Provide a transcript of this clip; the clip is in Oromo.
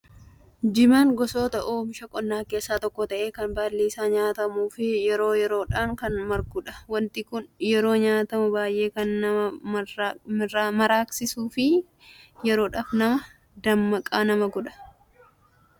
Jimaan gosoota oomisha qonnaa keessaa tokko ta'ee kan baalli isaa nyaatamuu fi yeroo yeroodhaan kan margudha. Wanti kun yeroo nyaatamu baay'ee kan nama maraqqansiisuu fi yeroodhaaf nama dammaqaa nama godha.